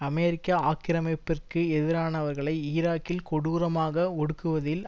அமெரிக்க ஆக்கிரமிப்பிற்கு எதிரானவர்களை ஈராக்கில் கொடூரமாக ஒடுக்குவதில்